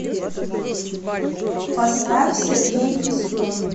поставь сергей пискун